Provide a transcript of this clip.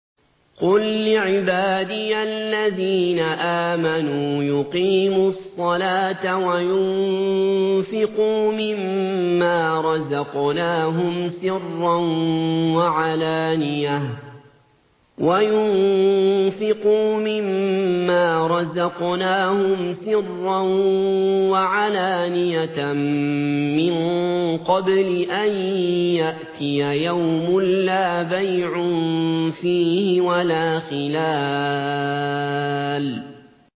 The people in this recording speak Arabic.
قُل لِّعِبَادِيَ الَّذِينَ آمَنُوا يُقِيمُوا الصَّلَاةَ وَيُنفِقُوا مِمَّا رَزَقْنَاهُمْ سِرًّا وَعَلَانِيَةً مِّن قَبْلِ أَن يَأْتِيَ يَوْمٌ لَّا بَيْعٌ فِيهِ وَلَا خِلَالٌ